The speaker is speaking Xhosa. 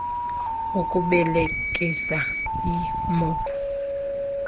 okubelekisa ii mou